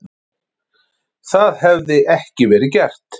Það hefði ekki verið gert